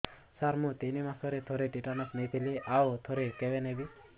ସାର ମୁଁ ତିନି ମାସରେ ଥରେ ଟିଟାନସ ନେଇଥିଲି ଆଉ ଥରେ କେବେ ନେବି